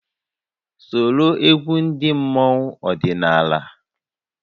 Soro egwu ndị mmọnwu ọdịnala!